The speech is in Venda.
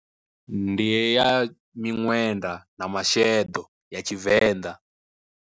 Ndi ya miṅwenda na masheḓo ya tshivenḓa.